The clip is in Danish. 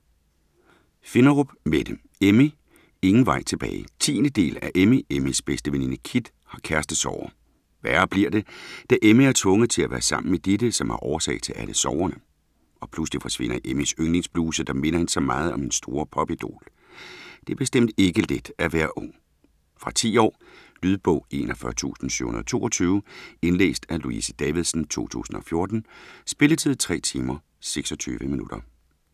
Finderup, Mette: Emmy - ingen vej tilbage 10. del af Emmy. Emmys bedste veninde Kit har kærestesorger. Værre bliver det, da Emmy er tvunget til at være sammen med Ditte, som er årsag til alle sorgerne. Og pludselig forsvinder Emmys yndlings-bluse, der minder hende så meget om hendes store popidol. Det er bestemt ikke let at være ung. Fra 10 år. Lydbog 41722 Indlæst af Louise Davidsen, 2014. Spilletid: 3 timer, 26 minutter.